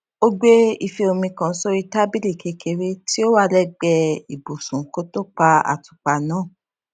ó gbé ife omi kan sórí tábìlì kékeré tí ó wà lẹgbẹẹ ibùsùn kó tó pa àtùpà náà